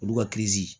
Olu ka kezi